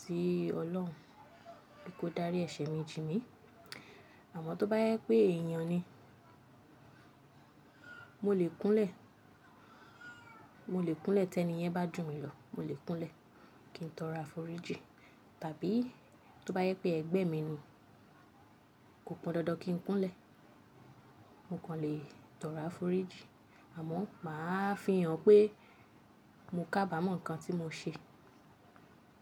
sí Ọlọ́run pe kó dárí ẹ̀ṣẹ̀ mi jìn mí. Amọ toba jẹ èèyàn ni, mo le kunlẹ, mo le kunlẹ ti eniyẹn ba jumi lọ ki n tọrọ arofiji tàbí tó bá jẹ́ pé ẹgbẹ́ mi ni, kò pọn dandan kí n kúnlẹ̀, mo kàn lè tọrọ àforíjì. Àmọ́ màá fi hàn pé mo kábàámọ̀ nnkan tí mo ṣe.